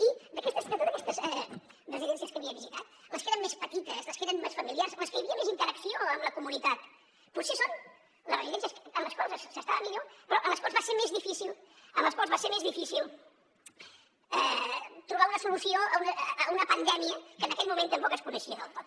i d’aquestes de totes aquestes residències que havia visitat les que eren més petites les que eren més familiars les que hi havia més interacció amb la comunitat potser són les residències en les quals s’estava millor però en les quals va ser més difícil en les quals va ser més difícil trobar una solució a una pandèmia que en aquell moment tampoc es coneixia del tot